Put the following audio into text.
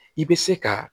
I bɛ se ka